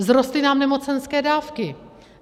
Vzrostly nám nemocenské dávky.